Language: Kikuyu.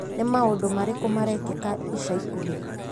Nĩ maũndũ marĩkũ marekĩka ica ikuhĩ ?